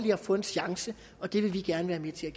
få en chance og det vil vi gerne være med til